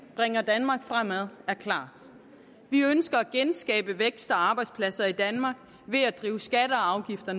bringer danmark fremad er klart vi ønsker at genskabe vækst og arbejdspladser i danmark ved at drive skatter og afgifter